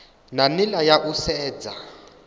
na nila ya u sedza